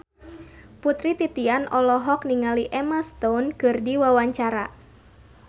Putri Titian olohok ningali Emma Stone keur diwawancara